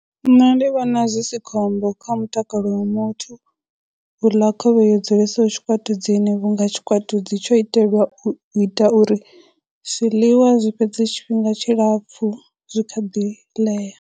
Nṋe ndi vhona zwi si khombo kha mutakalo wa muthu u ḽa khovhe yo dzulesaho tshikwatudzini vhunga tshikwatudzi tsho itelwa u ita uri zwiḽiwa zwi fhedze tshifhinga tshilapfhu zwi kha ḓi ḽea.